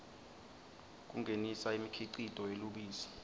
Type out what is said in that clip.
kungenisa imikhicito yelubisi